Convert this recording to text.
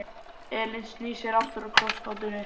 Elín snýr sér aftur að krossgátunni.